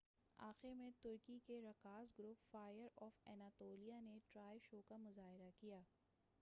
آخر میں ترکی کے رقاص گروپ فائر آف اناطولیہ نے ٹرائے شو کا مظاہرہ کیا